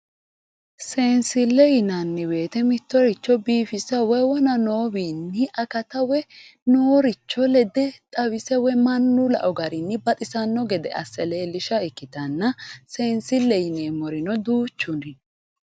Seensile yinanni woyte mittoricho biifissa woyi wona noowinni akatta woyi nooricho lede xawise mannu lao garinni baxisano gede assa leelisha ikkittanna seensile yineemmorino duuchu no.